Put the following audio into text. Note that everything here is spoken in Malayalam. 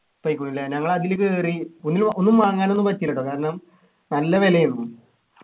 പോയിക്കുണു ല്ലേ ഞങ്ങൾ അതില് കേറി ഒന്ന്ലു ഒന്നും വാങ്ങാനൊന്നും പറ്റിലാ ട്ടോ കാരണം നല്ല വിലയായിരുന്നു